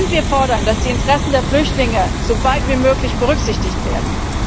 Wir fordern, dass die Interessen der Flüchtlinge soweit wie möglich berücksichtigt werden.